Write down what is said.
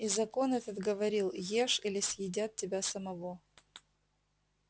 и закон этот говорил ешь или съедят тебя самого